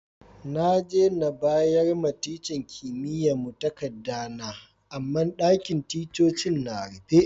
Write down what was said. Na je bayar ma tican kimiyya'n mu takada na, amma ɗakin ticcocin na rufe.